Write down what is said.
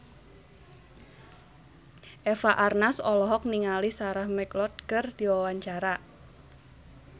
Eva Arnaz olohok ningali Sarah McLeod keur diwawancara